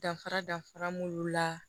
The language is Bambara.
Danfara dafara mun b'u la